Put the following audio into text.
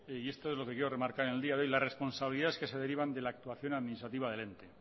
y esto es lo que quiero remarcar en el día de hoy las responsabilidades que se derivan de la actuación administrativa del ente